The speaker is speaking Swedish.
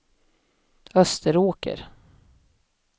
Österåker